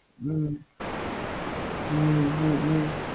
ஹம் ஹம் ஹம் ஹம்